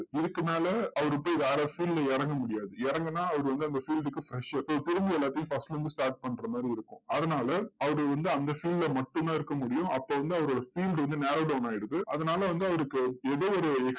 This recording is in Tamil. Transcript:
இதுக்கு மேல, அவருக்கு வேற field ல இறங்க முடியாது. இறங்குன்னா, அவரு வந்து அந்த field க்கு fresher so திரும்ப எல்லாத்தையும் first ல இருந்து start பண்ற மாதிரி இருக்கும். அதனால அவர் வந்து அந்த field ல மட்டும் தான் இருக்க முடியும். அப்போ வந்து அவரோட field வந்து narrow down ஆயிடுது. அதனால வந்து அவருக்கு ஏதோ ஒரு